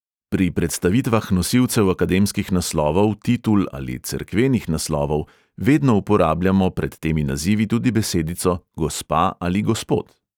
Pri predstavitvah nosilcev akademskih naslovov, titul ali cerkvenih naslovov vedno uporabljamo pred temi nazivi tudi besedico gospa ali gospod.